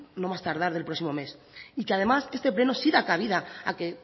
en no más tardar del próximo mes y que además este pleno sí da cabida a que